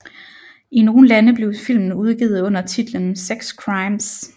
I nogle lande blev filmen udgivet under titlen Sex Crimes